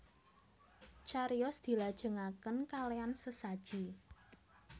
Cariyos dilajengaken kalean sesaji